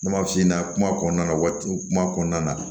Ne m'a f'i ɲɛna kuma kɔnɔna na waati kuma kɔnɔna na